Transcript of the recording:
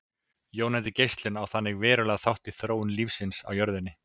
Jónandi geislun á þannig verulegan þátt í þróun lífsins á jörðinni.